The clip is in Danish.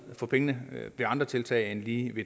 for pengene med andre tiltag end lige